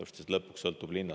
Sest lõpuks sõltub linnast …